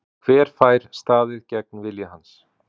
Hver fær staðið gegn vilja hans?